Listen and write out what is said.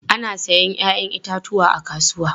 Ana sayen 'ya'yan itatuwa a kasuwa.